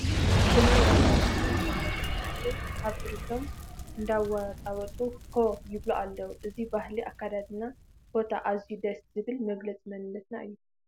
ብናይ ራያ ባህሊ ዝማዕረጉ መናእሰይ ኣብትርቶም እንዳወጣወጡ ሆ ይብሉ ኣለዉ፡፡ እዚ ባህሊ ኣከዳድናን ሆታን ኣዝዩ ደስ ዝብል መግለፂ መንነትና እዩ፡፡